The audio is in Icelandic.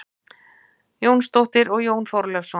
Jónsdóttur og Jón Þorleifsson.